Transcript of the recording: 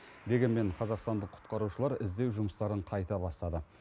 дегенмен қазақстандық құтқарушылар іздеу жұмыстарын қайта бастады